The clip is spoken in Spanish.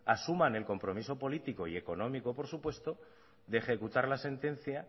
asuman el compromiso político y económico por supuesto de ejecutar la sentencia